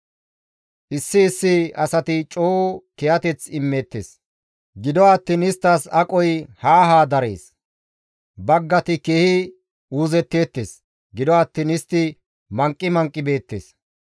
Issi issi asati coo kiyateth immeettes; gido attiin isttas aqoy haa haa darees. Baggati keehi uuzetteettes; gido attiin istti manqi manqi beettes.